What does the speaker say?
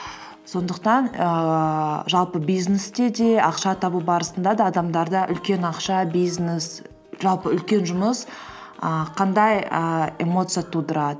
сондықтан ііі жалпы бизнесте де ақша табу барысында да адамдарда үлкен ақша бизнес жалпы үлкен жұмыс і қандай і эмоция тудырады